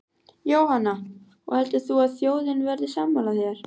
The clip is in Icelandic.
Jóhanna: Og heldur þú að þjóðin verði sammála þér?